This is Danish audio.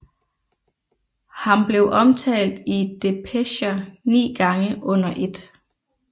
Ham blev omtalt i depecher ni gange under 1